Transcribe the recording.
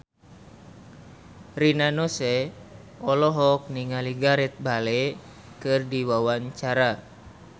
Rina Nose olohok ningali Gareth Bale keur diwawancara